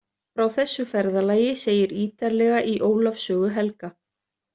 Frá þessu ferðalagi segir ítarlega í Ólafs sögu helga.